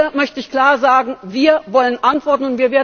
Hier möchte ich klar sagen Wir wollen Antworten!